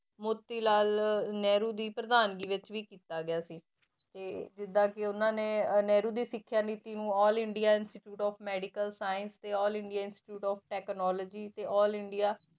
ਮੋਤੀਲਾਲ ਨਹਿਰੂ ਦੀ ਪ੍ਰਧਾਨਗੀ ਵਿੱਚ ਵੀ ਕੀਤਾ ਗਿਆ ਸੀ, ਤੇ ਜਿੱਦਾਂ ਕਿ ਉਹਨਾਂ ਨੇ ਨਹਿਰੂ ਦੀ ਸਿੱਖਿਆ ਨੀਤੀ ਨੂੰ all India institute of medical science ਤੇ all India institute of technology ਤੇ all ਇੰਡੀਆ